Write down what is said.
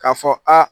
K'a fɔ aa